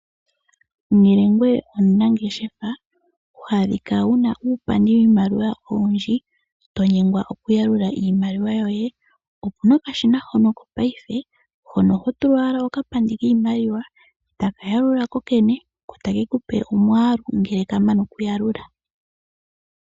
Ngele ngoye omunangeshefa wa adhika wuna uupandi wiimaliwa owundji to nyengwa okuyalula iimaliwa yoye opuna okashina hono ko ngashingeyi hono ho tula ko owala okapandi kiimaliwa eta ka yalula ko kene etake kupe omwaalu ngele ka mana okuyalula.